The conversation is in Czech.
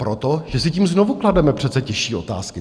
Proto, že si tím znovu klademe přece těžší otázky.